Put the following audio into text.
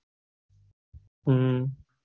હમ